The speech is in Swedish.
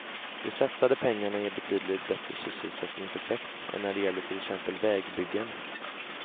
De satsade pengarna ger betydligt bättre sysselsättningseffekt än när det gäller till exempel vägbyggen.